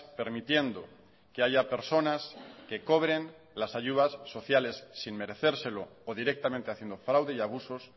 permitiendo que haya personas que cobren las ayudas sociales sin merecérselo o directamente haciendo fraude y abusos